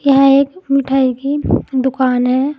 यह एक मिठाई की दुकान है।